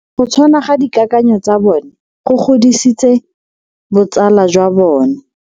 Go tshwana ga dikakanyo tsa bone go godisitse botsala jwa bone.